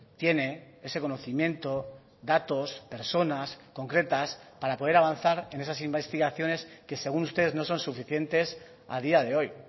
tiene ese conocimiento datos personas concretas para poder avanzar en esas investigaciones que según ustedes no son suficientes a día de hoy